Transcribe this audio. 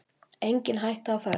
Engin hætta á ferð